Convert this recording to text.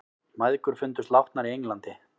Mæðgur fundust látnar í Englandi